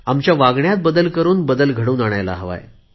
आमच्या वागणुकीतून आपण बदल घडवून आणायला हवा